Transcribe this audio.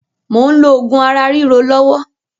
Mò ń lò oògùn ara ríro lọ́wọ́